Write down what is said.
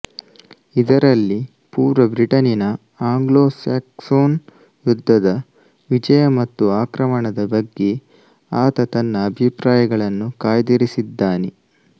ಇದರಲ್ಲಿ ಪೂರ್ವ ಬ್ರಿಟನಿನ ಆಂಗ್ಲೊಸ್ಯಾಕ್ಸೊನ್ ಯುದ್ದದ ವಿಜಯ ಮತ್ತು ಆಕ್ರಮಣದ ಬಗ್ಗೆ ಆತ ತನ್ನ ಅಭಿಪ್ರಾಯಗಳನ್ನು ಕಾಯ್ದಿರಿಸಿದ್ದಾನೆ